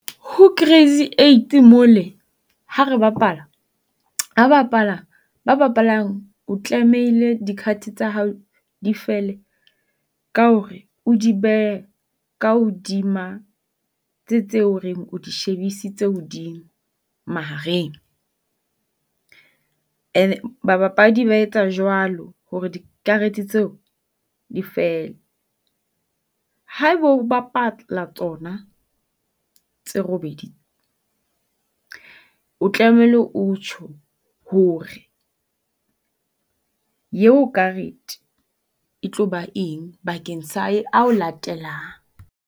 Ho crazy eight mole ha re bapala, hwa bapala ba bapalang, o tlamehile di card-e tsa hao di fele ka hore o di behe ka hodima tse tse o reng o di shebisitse hodimo mahareng. And babapadi ba etsa jwalo hore dikarete tseo di fele. Ha e bo o bapala tsona tse robedi, o tlamehile o tjho hore eo karete e tlo ba eng bakeng sa e ao latelang.